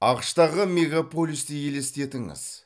ақш тағы мегаполисті елестетіңіз